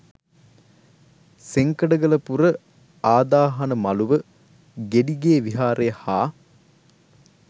සෙංකඩගලපුර ආදාහන මළුව, ගෙඩිගේ විහාරය හා